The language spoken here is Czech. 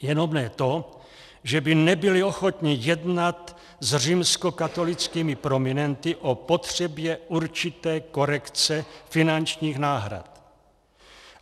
Jenom ne to, že by nebyli ochotni jednat s římskokatolickými prominenty o potřebě určité korekce finančních náhrad.